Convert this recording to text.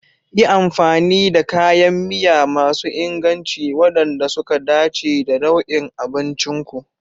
Yi amfani da kayan miya masu inganci waɗanda suka dace da nau'in abncin ku.